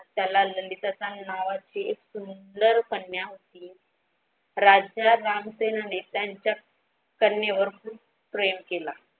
त्याला ललित असे नावाची एक सुंदरकन्या होती राजाराम सेन ने यांच्या कन्या वर खूप प्रेम केलं.